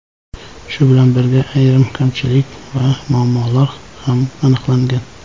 Shu bilan birga, ayrim kamchilik va muammolar ham aniqlangan.